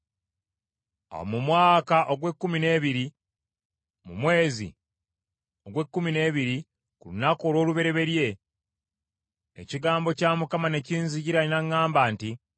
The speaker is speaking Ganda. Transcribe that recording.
Awo mu mwaka ogw’ekkumi n’ebiri, mu mwezi ogw’ekkumi n’ebiri ku lunaku olw’olubereberye, ekigambo kya Mukama ne kinzijira n’aŋŋamba nti,